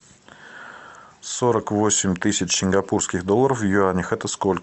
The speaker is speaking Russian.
сорок восемь тысяч сингапурских долларов в юанях это сколько